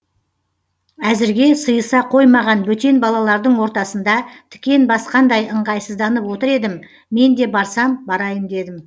әзірге сыйыса қоймаған бөтен балалардың ортасында тікен басқандай ыңғайсызданып отыр едім мен де барсам барайын дедім